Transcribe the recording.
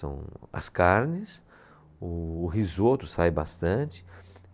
São as carnes, o, o risoto sai bastante.